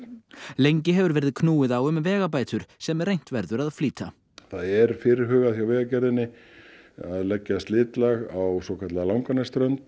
lengi hefur verið knúið á um vegabætur sem reynt verður að flýta það er fyrirhugað hjá Vegagerðinni að leggja slitlag á svokallaða Langanesströnd